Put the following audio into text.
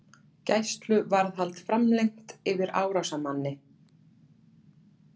Gæsluvarðhald framlengt yfir árásarmanni